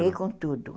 Parei com tudo.